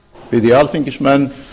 bið ég alþingismenn